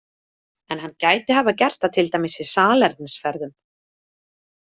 En hann gæti hafa gert það til dæmis í salernisferðum?